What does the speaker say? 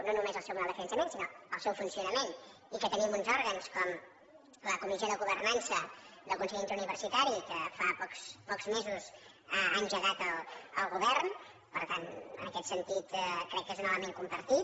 no només el seu model de finançament sinó el seu fun·cionament i que tenim uns òrgans com la comissió de governança del consell interuniversitari que fa pocs mesos ha engegat el govern per tant en aquest sentit crec que és un element compartit